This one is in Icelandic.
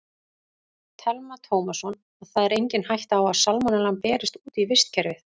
Telma Tómasson: Og það er engin hætta á að salmonellan berist út í vistkerfið?